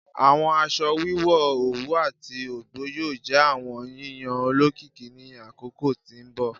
Awọn aṣọ wiwọ owu ati ọgbọ yoo jẹ awọn yiyan olokiki ni akoko ti n bọ